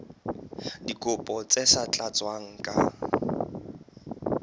dikopo tse sa tlatswang ka